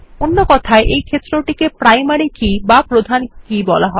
অন্য কথায় এই ক্ষেত্রটিকে প্রাইমারি কি বা প্রধান কি বলা হয়